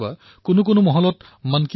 মন কী বাত চৰকাৰী কথা নহয় এয়া সমাজৰ কথা